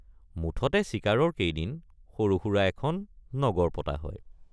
মুঠতে চিকাৰৰ কেইদিন সৰুসুৰা এখন নগৰ পতা হয়।